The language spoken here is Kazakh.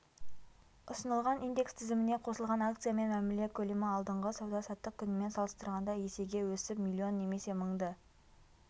ұсынылған индекс тізіміне қосылған акциямен мәміле көлемі алдыңғы сауда-саттық күнімен салыстырғанда есеге өсіп млн немесе мыңды